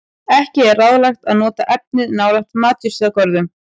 Ekki er ráðlegt að nota efnið nálægt matjurtagörðum.